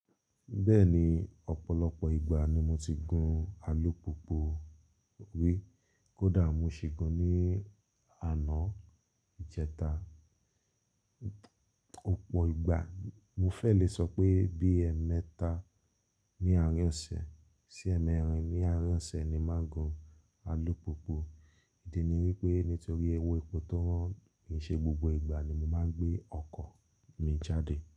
Bẹ́ẹ̀ni, ọ̀pọ̀lọpọ̀ ìgbà ni mo ti gun alùpùpù ri kódà mo ṣi gun ní àná, ìjẹta. Òpò ìgbà, mo fẹ́ lè sọ pé bí ẹ́mẹ́ta ní àárín ọ̀sẹ̀ sí ẹ̀mẹ́rin ní àárín ọ̀sẹ̀ ni máa ń gun alùpùpù. Ìdí ni wípé nítorí ewé ipò tó won, kìí ṣe gbogbo ìgbà ni mo máa ń gbé ọkọ̀ mi jáde.